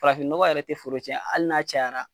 Farafin nɔgɔ yɛrɛ te foro tiɲɛ hali n'a cayara